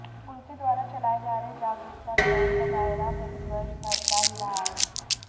उनके द्वारा चलाए जा रहे जागरूकता अभियान का दायरा प्रतिवर्ष बढ़ता ही रहा है